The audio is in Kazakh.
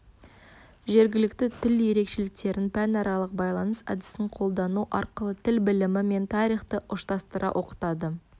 жергілікті тіл ерекшеліктерін пәнаралық байланыс әдісін қолдану арқылы тіл білімі мен тарихты ұштастыра оқытады